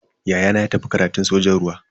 Ya'yana ya tafi karatun sojan ruwa.